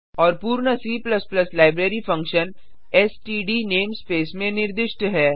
और पूर्ण C library function STD namespace में निर्दिष्ट है